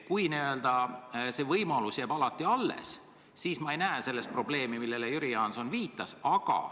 Kui see võimalus jääb alati alles, siis ma ei näe probleemi, millele Jüri Jaanson viitas.